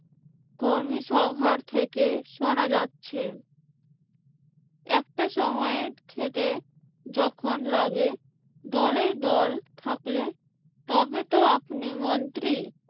কর্মীসভা থেকে শুনা যাচ্ছে একটা সময়ে খেতে যখন লাগে দলে দল থাকলে তবেতো আপনি মন্ত্রী